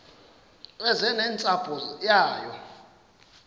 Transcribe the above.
eze nentsapho yayo